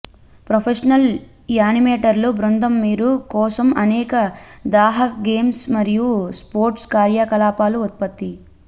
professional యానిమేటర్లు బృందం మీరు కోసం అనేక దాహక గేమ్స్ మరియు స్పోర్ట్స్ కార్యకలాపాలు ఉత్పత్తి